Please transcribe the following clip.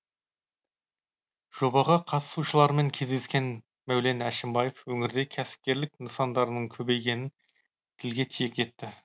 жобаға қатысушылармен кездескен мәулен әшімбаев өңірде кәсіпкерлік нысандарының көбейгенін тілге тиек етті